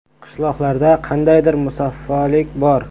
Qishloqlarda qandaydir musaffolik bor.